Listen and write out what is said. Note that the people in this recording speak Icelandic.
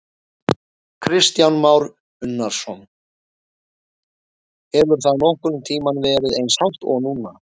Kristján Már Unnarsson: Hefur það nokkurn tímann verið eins hátt og núna?